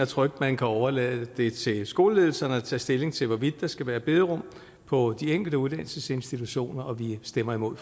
trygt kan overlade det til skoleledelserne at tage stilling til hvorvidt der skal være bederum på de enkelte uddannelsesinstitutioner og vi stemmer imod